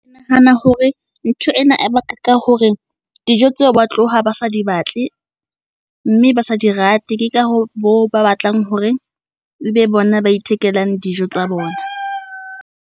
Ke nahana hore ntho ena e baka ka hore dijo tseo ba tloha ba sa di batle mme ba sa di rate. Ke ka ho bo ba batlang hore ebe bona ba ithekelang dijo tsa bona.